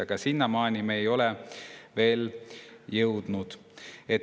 Aga sinnamaani me ei ole veel jõudnud.